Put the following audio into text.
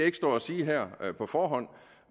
ikke stå og sige her på forhånd